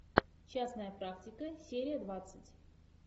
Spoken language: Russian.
частная практика серия двадцать